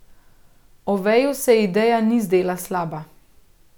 Oveju se ideja ni zdela slaba.